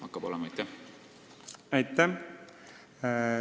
Aitäh!